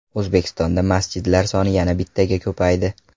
O‘zbekistonda masjidlar soni yana bittaga ko‘paydi.